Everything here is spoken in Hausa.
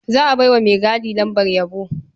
Za a bai wa maigadi lambar yabo.